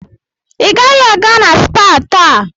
Ị gaghị aga na spaa taa.